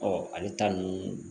ale ta ninnu